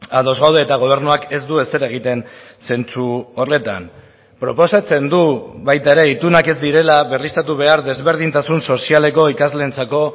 ados gaude eta gobernuak ez du ezer egiten zentzu horretan proposatzen du baita ere itunak ez direla berriztatu behar desberdintasun sozialeko ikasleentzako